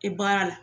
E baara la